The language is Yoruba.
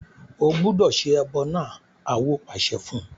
O gbúdọ̀ se ẹbọ náà! Awo pàṣẹ fún un.